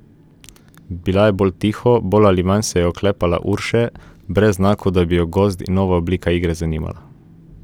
Bila je bolj tiho, bolj ali manj se je oklepala Urše, brez znakov, da bi jo gozd in nova oblika igre zanimala.